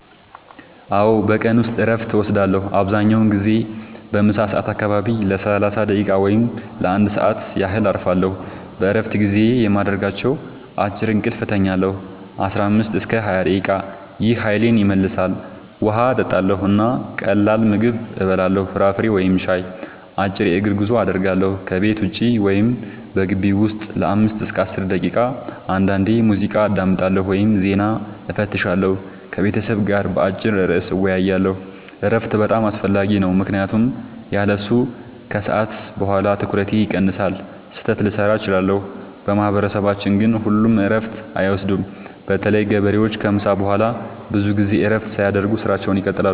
አዎ፣ በቀን ውስጥ እረፍት እወስዳለሁ። አብዛኛውን ጊዜ በምሳ ሰዓት አካባቢ ለ30 ደቂቃ ወይም ለ1 ሰዓት ያህል እረፋለሁ። በእረፍት ጊዜዬ የማደርጋቸው፦ · አጭር እንቅልፍ እተኛለሁ (15-20 ደቂቃ) – ይህ ኃይሌን ይመልሳል። · ውሃ እጠጣለሁ እና ቀላል ምግብ እበላለሁ (ፍራፍሬ ወይም ሻይ)። · አጭር የእግር ጉዞ አደርጋለሁ – ከቤት ውጭ ወይም በግቢው ውስጥ ለ5-10 ደቂቃ። · አንዳንዴ ሙዚቃ አዳምጣለሁ ወይም ዜና እፈትሻለሁ። · ከቤተሰብ ጋር በአጭር ርዕስ እወያያለሁ። እረፍት በጣም አስፈላጊ ነው ምክንያቱም ያለሱ ከሰዓት በኋላ ትኩረቴ ይቀንሳል፣ ስህተት ልሠራ እችላለሁ። በማህበረሰባችን ግን ሁሉም እረፍት አይወስዱም – በተለይ ገበሬዎች ከምሳ በኋላ ብዙ ጊዜ እረፍት ሳያደርጉ ሥራቸውን ይቀጥላሉ።